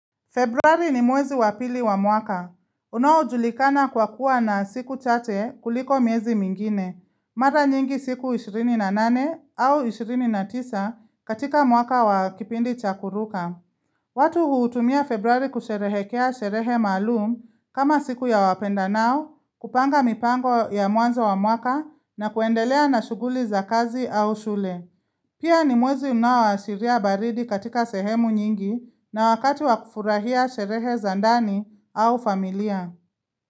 Februari ni mwezi wapili wa mwaka. Unaojulikana kwa kuwa na siku chache kuliko miezi mingine, mara nyingi siku 28 au 29 katika mwaka wakipindi chakuruka. Watu huutumia februari kusherehekea sherehe maalum kama siku ya wapenda nao, kupanga mipango ya mwanza wa mwaka na kuendelea na shughuli za kazi au shule. Pia ni mwezi unao asiria baridi katika sehemu nyingi na wakati wakufurahia sherehe zandani au familia.